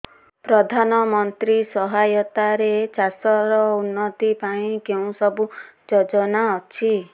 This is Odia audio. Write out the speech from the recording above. ପ୍ରଧାନମନ୍ତ୍ରୀ ସହାୟତା ରେ ଚାଷ ର ଉନ୍ନତି ପାଇଁ କେଉଁ ସବୁ ଯୋଜନା ଅଛି